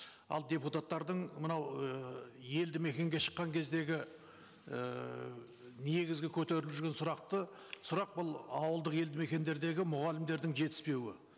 ал депутаттардың мынау ііі елді мекенге шыққан кездегі ііі негізгі көтеріліп жүрген сұрақты сұрақ бұл ауылдық елді мекендердегі мұғалімдердің жетіспеуі